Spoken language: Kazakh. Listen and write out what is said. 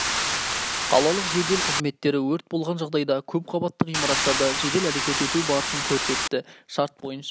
қалалық жедел қызметтері өрт болған жағдайда көпқабатты ғимараттарда жедел әрекет ету барысын көрсетті шарт бойынша